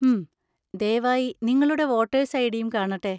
ഹും. ദയവായി നിങ്ങളുടെ വോട്ടേഴ്‌സ് ഐഡിയും കാണട്ടെ.